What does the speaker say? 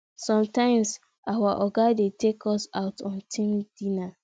sometimes our oga dey take us out on team dinner